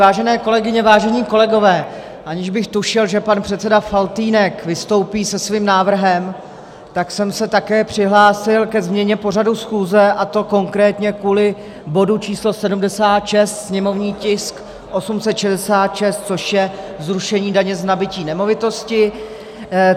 Vážené kolegyně, vážení kolegové, aniž bych tušil, že pan předseda Faltýnek vystoupí se svým návrhem, tak jsem se také přihlásil ke změně pořadu schůze, a to konkrétně kvůli bodu číslo 76, sněmovní tisk 866, což je zrušení daně z nabytí nemovitosti.